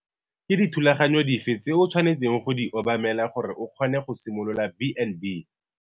Ke dithulaganyo dife tse o tshwanetseng go di obamela gore o kgone go simolola B and B?